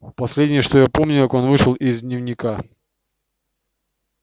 последнее что я помню как он вышел из дневника